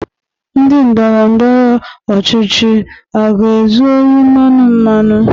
Ndị ndọrọndọrọ ọchịchị a ga-ezu ohi mmanụ mmanụ?